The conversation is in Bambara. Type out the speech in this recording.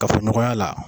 Kafoɲɔgɔnya la